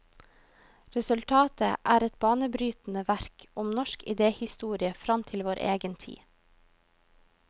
Resultatet er et banebrytende verk om norsk idéhistorie frem til vår egen tid.